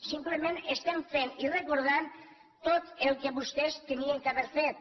simplement estem fent i recordant tot el que vostès havien d’haver fet